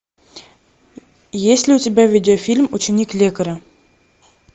есть ли у тебя видеофильм ученик лекаря